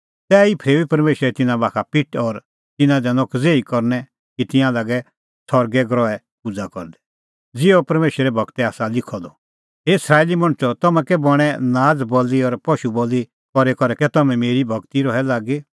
तैही फरेऊई परमेशरै तिन्नां बाखा पिठ और तिन्नां दैनअ कज़ेही करनै कि तिंयां लागै सरगे ग्रहे पूज़ा करदै ज़िहअ परमेशरे गूरै आसा लिखअ द हे इस्राएली मणछो तम्हैं कै बणैं नाज़ बल़ी और पशू बल़ी करी करै कै तम्हैं मेरी ई भगती रहै लागी